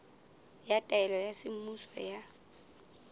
ya taelo ya semmuso ya